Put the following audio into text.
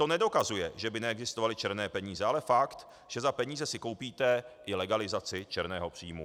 To nedokazuje, že by neexistovaly černé peníze, ale fakt, že za peníze si koupíte i legalizaci černého příjmu.